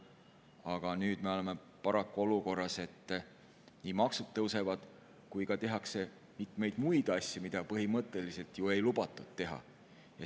Aga nüüd me oleme paraku olukorras, et nii maksud tõusevad kui ka tehakse mitmeid muid asju, mida põhimõtteliselt ei lubatud teha.